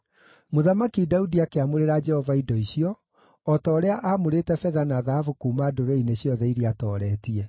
Mũthamaki Daudi akĩamũrĩra Jehova indo icio, o ta ũrĩa aamũrĩte betha na thahabu kuuma ndũrĩrĩ-inĩ ciothe iria aatooretie.